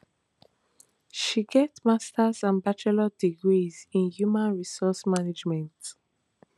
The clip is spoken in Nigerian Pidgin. she get masters and bachelor degrees in human resources management